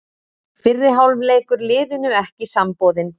Fyrri hálfleikur liðinu ekki samboðinn